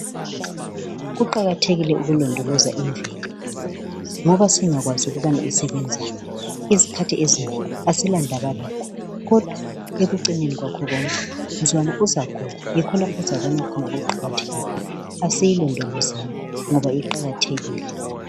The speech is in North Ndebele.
Kuqakathekile ukulondoloza imvelo ngoba singakwazi ukubana isebenzani izikhathi ezinengi asila ndaba lakho kodwa ekucineni kwakho konke mzukwana uzagula yikho lapho ozobona khona ukuqakatheka kwayo asiyilondolozeni ngoba iqakathekile.